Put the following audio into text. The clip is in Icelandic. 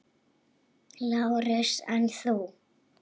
LÁRUS: En þú?